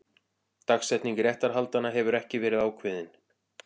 Dagsetning réttarhaldanna hefur ekki verið ákveðin